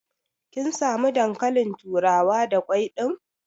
Kin samu dankalin turawa da kwai ɗin?